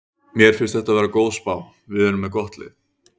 Mér finnst þetta vera góð spá, við erum með gott lið.